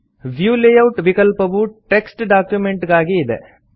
view layout ವಿಕಲ್ಪವು text document ಗಾಗಿ ಇದೆ